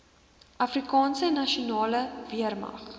afrikaanse nasionale weermag